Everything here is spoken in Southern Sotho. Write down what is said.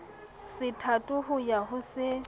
sethatho ho ya ho se